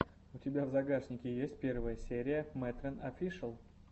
у тебя в загашнике есть первая серия мэтрэн офишэл